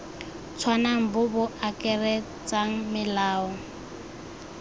tshwanang bo bo akaretsang melao